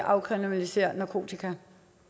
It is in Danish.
afkriminalisere narkotika